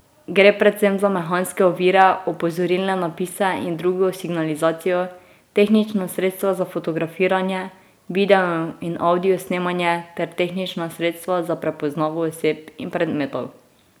Gre predvsem za mehanske ovire, opozorilne napise in drugo signalizacijo, tehnična sredstva za fotografiranje, video in avdio snemanje ter tehnična sredstva za prepoznavo oseb in predmetov.